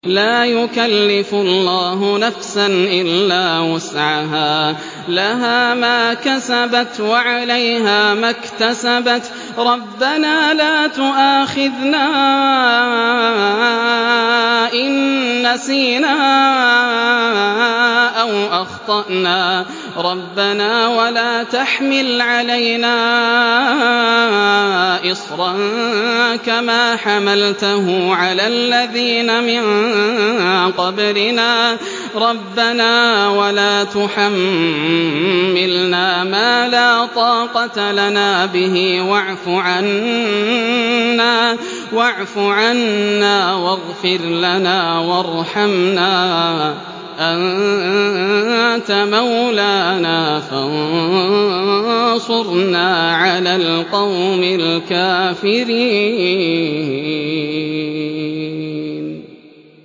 لَا يُكَلِّفُ اللَّهُ نَفْسًا إِلَّا وُسْعَهَا ۚ لَهَا مَا كَسَبَتْ وَعَلَيْهَا مَا اكْتَسَبَتْ ۗ رَبَّنَا لَا تُؤَاخِذْنَا إِن نَّسِينَا أَوْ أَخْطَأْنَا ۚ رَبَّنَا وَلَا تَحْمِلْ عَلَيْنَا إِصْرًا كَمَا حَمَلْتَهُ عَلَى الَّذِينَ مِن قَبْلِنَا ۚ رَبَّنَا وَلَا تُحَمِّلْنَا مَا لَا طَاقَةَ لَنَا بِهِ ۖ وَاعْفُ عَنَّا وَاغْفِرْ لَنَا وَارْحَمْنَا ۚ أَنتَ مَوْلَانَا فَانصُرْنَا عَلَى الْقَوْمِ الْكَافِرِينَ